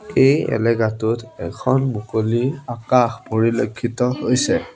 এই এলেকাটোত এখন মুকলি আকাশ পৰিলেক্ষিত হৈছে।